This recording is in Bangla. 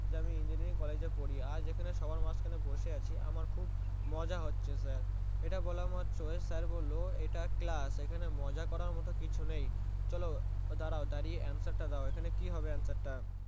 যে আমি Engineering college এ পড়ি আজ এখানে সবার মাঝখানে বসে আছি আমার খুব মজা আছেই ইটা বলা মাত্রই স্যার বললো ইটা Class এখানে মজা করার মতো কিউ নেই চলো দাড়াও এবার দাঁড়িয়ে Answer তা দাও এখানে কি হবে Answer তা